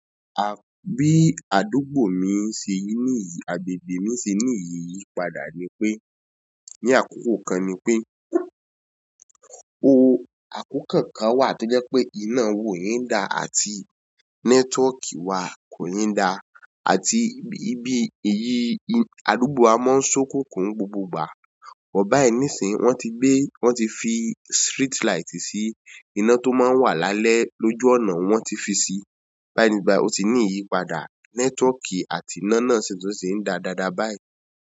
À, bí àdúgbò mi ṣe ri níyì, agbègbè mi ṣe ní iyípadà ni pé, ní àkókò kan ni pé, o, àkókò kan wà tó jẹ́ pé iná wa o in da àti network wa kò iń da, àti bí, bí èyí ì, àdúgbò wa máa ń sokunkun n gbogbo ìgbà. Bọ bayi nísìnyí, wọ́n ti gbé, wọ́n ti fi street light sí, iná tó máa ń wà lálẹ́ lójú ọ̀nà wọ́n ti fi sí. Báyi nisin yí bayi o ti ní ìyípadà, network àti iná náà sì tún ti ń da dáadáa báyìí.